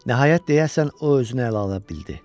Nəhayət deyəsən o özünü ələ ala bildi.